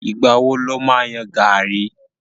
Ìgbà wo lo ma yan gàrí?